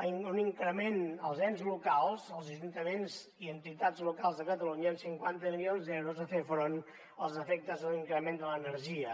a un increment als ens locals els ajuntaments i entitats locals de catalunya en cinquanta milions d’euros per fer front als efectes de l’increment de l’energia